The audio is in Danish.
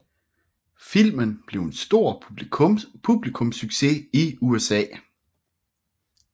Filmen blev en stor publikumssucces i USA